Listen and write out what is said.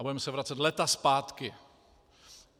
A budeme se vracet léta zpátky.